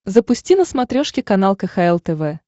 запусти на смотрешке канал кхл тв